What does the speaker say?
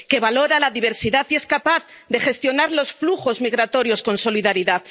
que valora la diversidad y es capaz de gestionar los flujos migratorios con solidaridad.